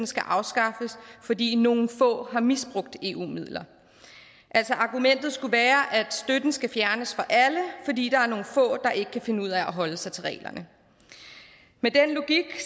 skal afskaffes fordi nogle få har misbrugt eu midler altså argumentet skulle være at støtten skal fjernes fra alle fordi der er nogle få der ikke kan finde ud af at holde sig til reglerne med den logik